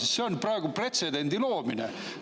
Sest see on praegu pretsedendi loomine.